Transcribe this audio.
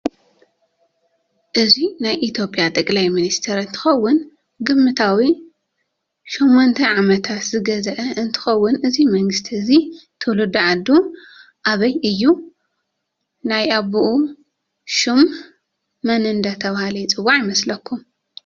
እዚ ናይ ኢትዮጵያ ጣቅላይ መንስተር እንትከውን ግምታዊ ሸሞንተዓመታት ዝገዘእ እንትውን እዚ መንግስትእዚ ትውልዱዓዱ ኣበይ ሽሙ ሽም ኣቡኡ መን እደተበሃለ ይፅዋዕ ይመስለኩም?